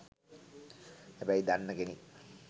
හැබැයි දන්න කෙනෙක්